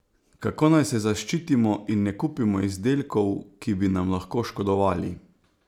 Kako naj se zaščitimo in ne kupimo izdelkov, ki bi nam lahko škodovali?